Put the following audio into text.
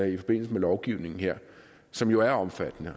i forbindelse med lovgivningen her som jo er omfattende